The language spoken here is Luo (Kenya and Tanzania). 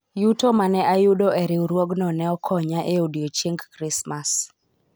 yuto mane ayudo e riwruogno ne okonya e odiochieng krismas